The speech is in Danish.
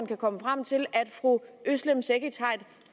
kan komme frem til at fru özlem cekic har et